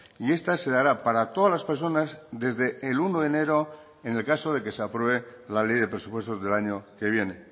y esta se dará para todas las personas desde el uno de enero en el caso de que se apruebe la ley de presupuestos del año que viene